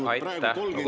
Aitäh, lugupeetud küsija!